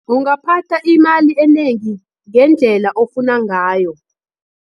Ungaphatha imali enengi, ngendlela ofuna ngayo.